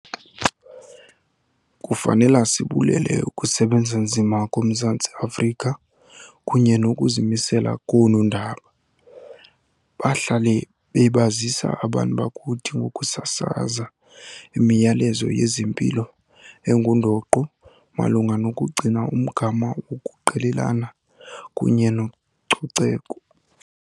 Kufanela sibulele ukusebenza nzima koMzantsi Afrika kunye nokuzimisela koonondaba. Bahlale bebazisa abantu bakuthi ngokusasaza imiyalezo yezempilo engundoqo malunga nokugcina umgama wokuqelelana kunye nococeko.